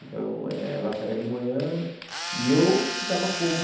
Então, eh ela saía de manhã e eu ficava como...